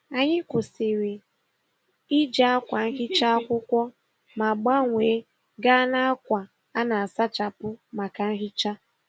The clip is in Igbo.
Anyị kwụsịrị iji akwa nhicha akwụkwọ ma gbanwee gaa n'akwa a na-asachapụ maka nhicha.